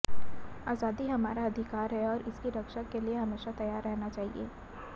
आजादी हमारा अधिकार है और इसकी रक्षा के लिए हमेशा तैयार रहना चाहिए